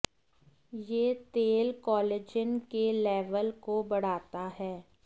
ये तेल कोलेजन के लेवल को बढ़ाता है